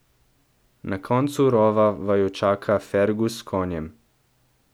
Na koncu rova vaju čaka Fergus s konjem.